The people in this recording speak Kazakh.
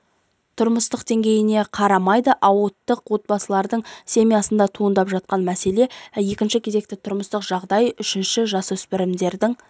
тұрмыстық деңгейіне қарамайды ауқатты отбасылардыңда семясында туындап жатқан мәселе екінші кезекте тұрмыстық жағдай үшінші жасөспірімдердің